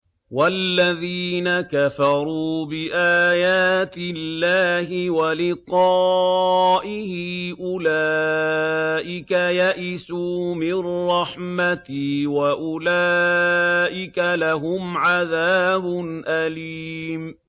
وَالَّذِينَ كَفَرُوا بِآيَاتِ اللَّهِ وَلِقَائِهِ أُولَٰئِكَ يَئِسُوا مِن رَّحْمَتِي وَأُولَٰئِكَ لَهُمْ عَذَابٌ أَلِيمٌ